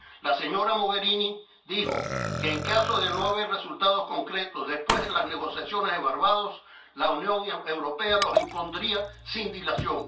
La señora Mogherini dijo que, en caso de no ver resultados concretos después de las negociaciones de Barbados, la Unión Europea las impondría sin dilación.